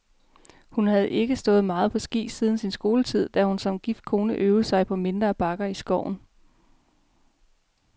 Hun havde ikke stået meget på ski siden sin skoletid, da hun som gift kone øvede sig på mindre bakker i skoven.